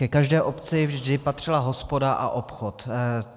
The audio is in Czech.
Ke každé obci vždy patřila hospoda a obchod.